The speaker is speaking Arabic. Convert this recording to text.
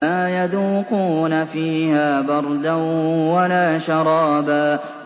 لَّا يَذُوقُونَ فِيهَا بَرْدًا وَلَا شَرَابًا